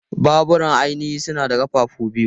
Babura ainihi suna da ƙafafu biyu.